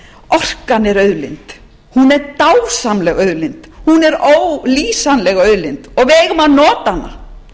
orkan er auðlind hún er dásamleg auðlind hún er ólýsanleg auðlind og við eigum að nota hana